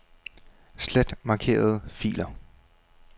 Slet markerede filer.